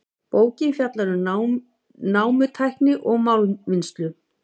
Bókin fjallar um námutækni og málmvinnslu.